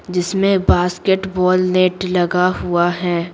जिसमें basketball net लगा हुआ है।